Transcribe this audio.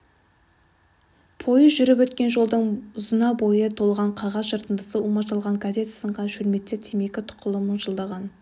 пойыз жүріп өткен жолдың ұзына бойы толған қағаз жыртындысы умаждалған газет сынған шөлмектер темекі тұқылы мыжылған